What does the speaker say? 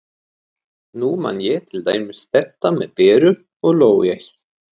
Nú man ég til dæmis þetta með Beru og lógóið.